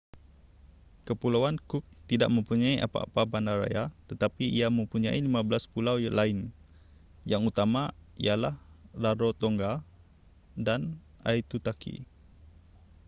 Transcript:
kepulauan cook tidak mempunyai apa-apa bandar raya tetapi ia mempunyai 15 pulau lain yang utama ialah rarotonga dan aitutaki